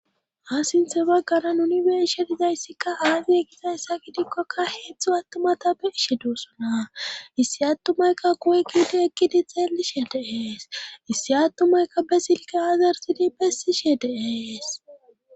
Ha sinthe bagganan unibershe dizayssikka haagi ekizayssa gidikkoka heetztzhu attumata be ishe doosona issi attumayka kuwe giidi ekkidi xeelishe deees issi attumaykka besilke aazartidi bessishe dees.